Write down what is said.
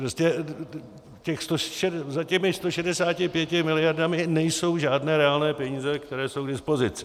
Prostě za těmi 165 miliardami nejsou žádné reálné peníze, které jsou k dispozici.